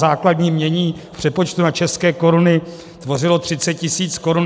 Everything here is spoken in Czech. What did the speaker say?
Základní jmění v přepočtu na české koruny tvořilo 30 tisíc korun.